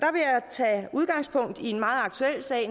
tage udgangspunkt i en meget aktuel sag